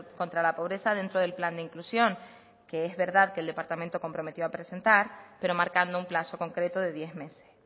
contra la pobreza dentro del plan de inclusión que es verdad que el departamento comprometió a presentar pero marcando un plazo concreto de diez meses